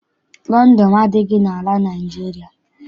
Lọndọnụ adịghị n'ala Naịjirịa.